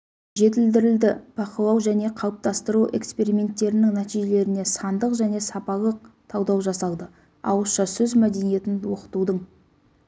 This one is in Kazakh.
жетілдірілді бақылау және қалыптастыру эксперименттерінің нәтижелеріне сандық және сапалық талдау жасалды ауызша сөз мәдениетін оқытудың